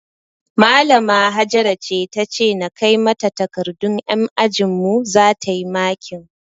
Malama Hajara ce tace na kai mata takardun yan ajinmu zata yi makin